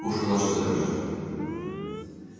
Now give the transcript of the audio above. пушка наша заряжена